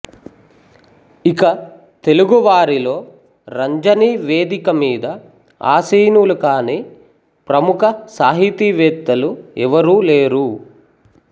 ఇక తెలుగువారిలో రంజని వేదిక మీద ఆసీనులు కాని ప్రముఖ సాహితీవేత్తలు ఎవరూలేరు